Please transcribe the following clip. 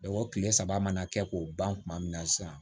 o kile saba mana kɛ k'o ban kuma min na sisan